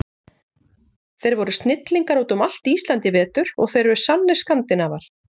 Þeir voru snillingar út um allt Ísland í vetur og þeir eru sannir Skandinavar.